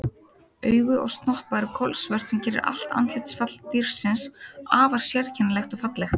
Augu og snoppa eru kolsvört sem gerir allt andlitsfall dýrsins afar sérkennilegt og fallegt.